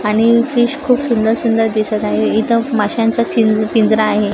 आणि फिश खूप सुंदर सुंदर दिसत आहे इथं माशांचा चीन पिंजरा आहे.